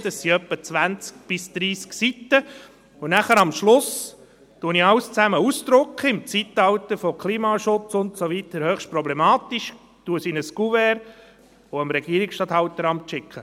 Dies sind etwa 20–30 Seiten, und am Schluss drucke ich alles aus – im Zeitalter von Klimaschutz und so weiter höchst problematisch –, stecke dies in ein Couvert und schicke an das Regierungsstatthalteramt.